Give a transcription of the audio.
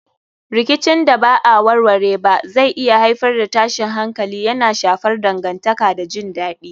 Rikicin da ba a warware ba zai iya haifar da tashin hankali, yana shafar dangantaka da jin dadi.